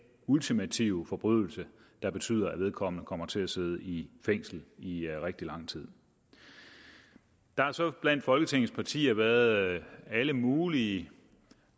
ultimative forbrydelse der betyder at vedkommende kommer til sidde i fængsel i rigtig lang tid der har så blandt folketingets partier været alle mulige